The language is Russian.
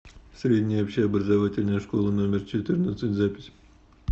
средняя общеобразовательная школа номер четырнадцать запись